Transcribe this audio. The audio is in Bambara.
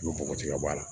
I bɛ bɔgɔti ka bɔ a la